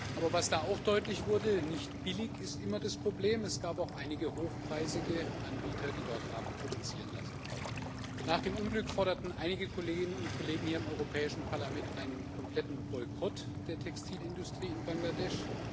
Aber was da auch deutlich wurde Nicht billig ist immer das Problem es gab auch einige hochpreisige Anbieter, die dort haben produzieren lassen. Nach dem Unglück forderten einige Kolleginnen und Kollegen im Europäischen Parlament einen kompletten Boykott der Textilindustrie in Bangladesch.